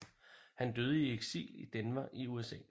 Han døde i eksil i Denver i USA